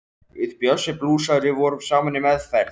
Við Bjössi blúsari vorum saman í meðferð.